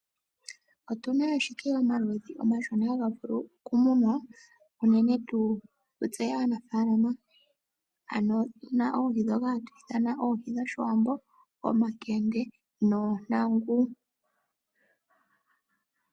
Otuna ashike omaludhi omashona haga vulu okumunwa uunene tu kutse aanafaalama, ano otuna oohi dhoka hatu ithana oohi dhoshiwambo, omakende noontangu.